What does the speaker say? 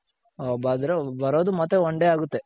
ಬರೋದು ಮತ್ತೆ one day ಆಗುತ್ತೆ .